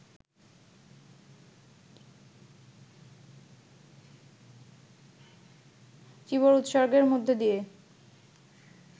চীবর উৎসর্গের মধ্য দিয়ে